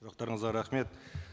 сұрақтарыңызға рахмет